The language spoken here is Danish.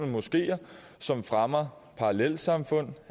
moskeer som fremmer parallelsamfund